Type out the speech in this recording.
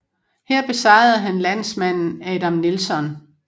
Her besejrede han landsmanden Adam Nelson